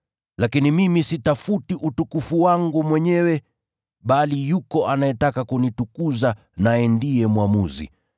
Lakini mimi sitafuti utukufu wangu mwenyewe, bali yuko anayetaka kunitukuza, naye ndiye mwamuzi.